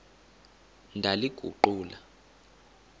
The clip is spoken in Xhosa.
ndaliguqula